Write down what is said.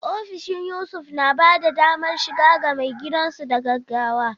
Ofishin Yusuf na ba da damar shiga ga maigidansu da gaggawa.